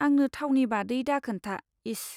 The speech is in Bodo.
आंनो थावनि बादै दाखोन्था, इस।